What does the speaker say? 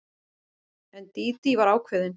En Dídí var ákveðin.